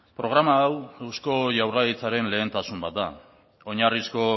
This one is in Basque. programa hau eusko jaurlaritzaren lehentasuna bat da oinarrizko